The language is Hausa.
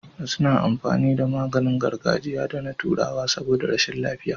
Wasu na amfani da maganin gargajiya da na turawa saboda rashin lafiya